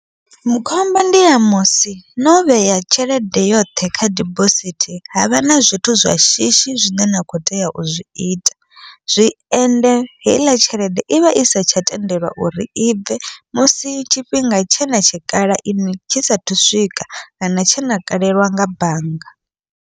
Mu khombo ndi ya musi no vhea tshelede yoṱhe kha dibosithi, havha na zwithu zwa shishi zwine na kho tea u zwiita zwi ende heiḽa tshelede ivha i setsha tendelwa uri ibve musi tshifhinga tshena tshikhala iṅwi tshi sathu swika, kana tshena kalelwa nga bannga.